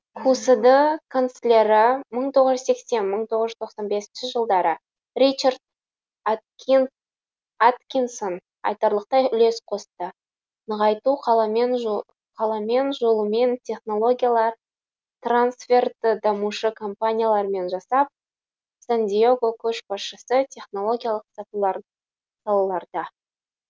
кусд канцлері мың тоғыз жүз сексен мың тоғыз жүз тоқсан бесінші жылдары ричард аткинсон айтарлықтай үлес қосты нығайту қаламен жолымен технологиялар трансферті дамушы компаниялармен жасап сан диего көшбасшысы технологиялық салаларда